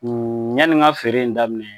Yanni n ka feere in daminɛ